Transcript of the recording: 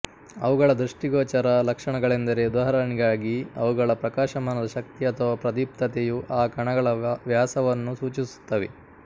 ಅವುಗಳ ದೃಷ್ಟಿಗೋಚರ ಲಕ್ಷಣಗಳೆಂದರೆ ಉದಾಹರಣೆಗಾಗಿ ಅವುಗಳ ಪ್ರಕಾಶಮಾನದ ಶಕ್ತಿ ಅಥವಾ ಪ್ರದೀಪ್ತತೆಯು ಆ ಕಣಗಳ ವ್ಯಾಸವನ್ನು ಸೂಚಿಸುತ್ತವೆ